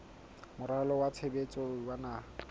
moralo wa tshebetso wa naha